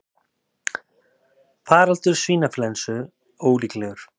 Faraldur svínaflensu ólíklegur